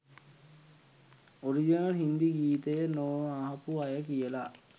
Original හිංදිගීතය නො අහපු අය කියලා.